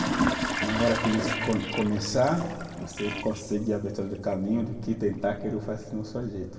Na hora que eles co, começar, você conseguir caminho do que tentar quero faz.